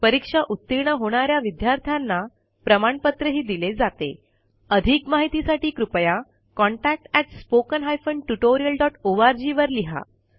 परीक्षा उतीर्ण होणा या विद्यार्थ्यांना प्रमाणपत्रही दिले जातेअधिक माहितीसाठी कृपया contactspoken tutorialorg वर लिहा